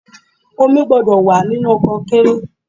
Omi gbúdọ̀ wà nínú konkéré.